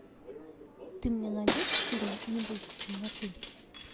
ты мне найдешь фильм не бойся темноты